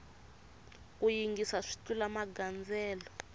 ku yingisa swi tlula magandzelo